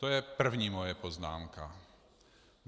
To je první moje poznámka.